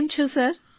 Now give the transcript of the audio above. કેમ છો સર